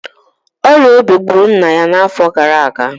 ọrịa obi gburu nna ya n'afọ gara aga